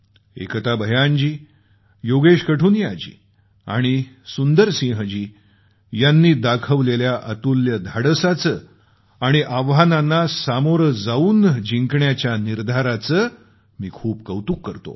एकता भयान जी योगेश कठुनिया जी आणि सुंदर सिंह जी यांनी दाखवलेल्या अतुल्य धाडसाचे आणि आव्हानांना सामोरं जाऊन जिंकण्याच्या निर्धाराचे मी खूप कौतुक करतो